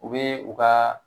U bɛ u ka